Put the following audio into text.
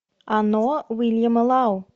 оно уильяма лау